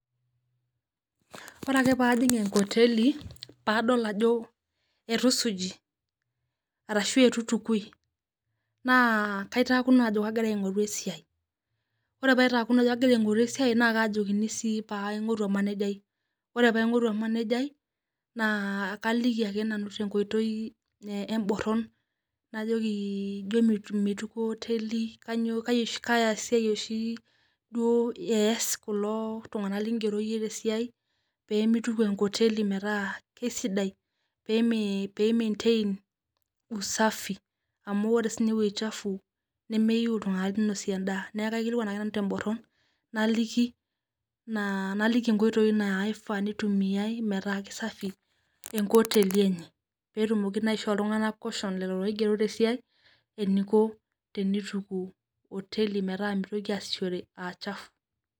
Kore ake paijiing' nkoteli paa adool ajoo atuu suuji arashu atuu eitukui naa kaitaakino ajo kagiraa aing'uruu esiai. Ore paitakinoo ajoo kagira aing'uruu esia naa kaijokini sii paa aing'urua lmanejai. Ore paa aing'uruu emanejai naa kalikii ake te nkotei e mbooron joo meituko nkoteli kanyoo kaa siai doo ees kuloo ltung'ana ling'eroo enye te siai pee meituuk nkoteli paata kesidai pee mantain usafi amu ore sii ninye wueji chafuu nemee iyeu ltung'ana neinosie ndaa. Naa aikilikwan ake nanu te mbooron nalikii naa naliki enkotoi naifaa neitumia meetaa kesafi enkoteli enye. Pee eitumooki naishoo ltung'ana caution lelo loigeroo te siai eneikoo teneituku hoteli meetaa meitoki asishore aa chafuu cs].